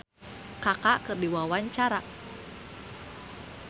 Mang Koko olohok ningali Kaka keur diwawancara